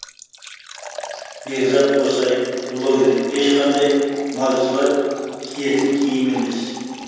бекзат қосай блогер ешқандай малшылар киетін киім емес